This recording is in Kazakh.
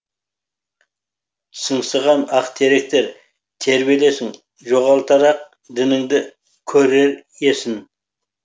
сыңсыған ақ теректер тербелесің жоғалтар ақ діңіңді көрер есін